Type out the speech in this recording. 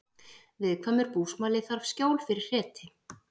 Viðkvæmur búsmali þarf skjól fyrir hreti